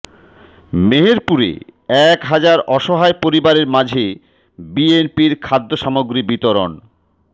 মেহেরপুরে এক হাজার অসহায় পরিবারের মাঝে বিএনপির খাদ্য সামগ্রী বিতরণ